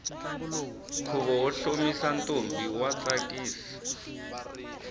khuvo wo hlomisa ntombi wa tsakisa